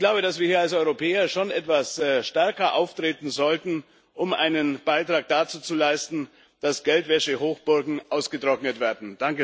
Ich glaube, dass wir hier als Europäer schon etwas stärker auftreten sollten, um einen Beitrag dazu zu leisten, dass Geldwäschehochburgen ausgetrocknet werden.